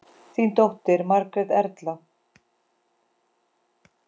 Þín dóttir, Margrét Erla.